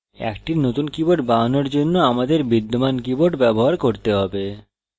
একটি নতুন keyboard বানানোর জন্য আমাদের বিদ্যমান keyboard ব্যবহার করতে have